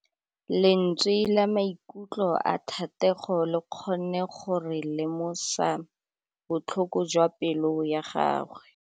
Lentswe la maikutlo a Thategô le kgonne gore re lemosa botlhoko jwa pelô ya gagwe.